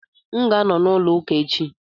M ga-anọ na olu ụka echi.